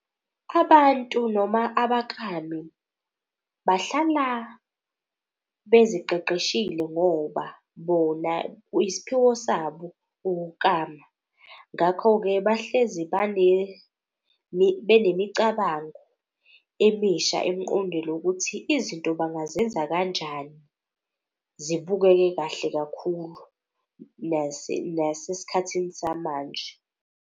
Abantu noma abakami bahlala beziqeqeshile ngoba bona isiphiwo sabo ukukama. Ngakho-ke bahlezi benemicabango emisha emqondweni ukuthi izinto bangazenza kanjani. Zibukeke kahle kakhulu nase sikhathini samanje.